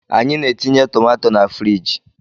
Anyị na-etinye tomato na friji